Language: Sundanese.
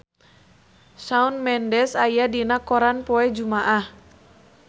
Shawn Mendes aya dina koran poe Jumaah